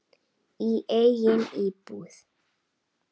Í eigin íbúð.